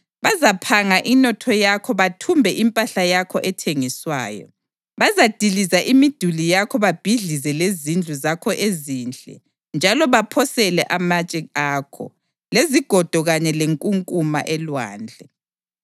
Bazaphanga inotho yakho bathumbe impahla yakho ethengiswayo; bazadiliza imiduli yakho babhidlize lezindlu zakho ezinhle njalo baphosele amatshe akho, lezigodo kanye lenkunkuma elwandle.